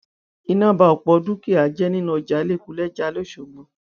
iná ba ọpọ dúkìá jẹ nínú ọjà lẹkúlèjà lọsọgbò